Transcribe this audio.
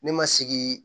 Ne ma sigi